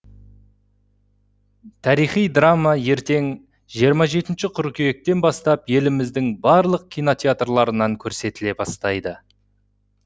тарихи драма ертең жиырма жетінші қыркүйектен бастап еліміздің барлық кинотеатрынан көрсетіле бастайды